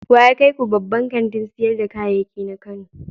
Wa ya kai ku babban kantin sayar da kayayyaki na Kano?